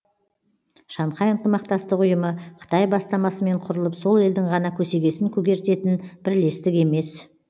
шанхай ынтымақтастық ұйымы қытай бастамасымен құрылып сол елдің ғана көсегесін көгертетін бірлестік емес